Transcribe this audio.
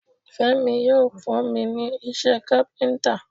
Fẹ́mi yóò kọ́ mi ní iṣẹ́ káfíntà.